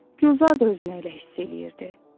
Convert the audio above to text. Gülzar da özünü elə hiss edirdi.